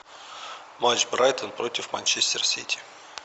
матч брайтон против манчестер сити